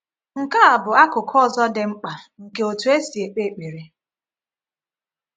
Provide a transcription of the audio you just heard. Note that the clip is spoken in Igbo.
Nke a bụ akụkụ ọzọ dị mkpa nke otú e si ekpe ekpere.